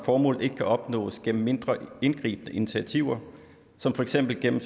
formålet ikke kan opnås gennem mindre indgribende initiativer som for eksempel gennem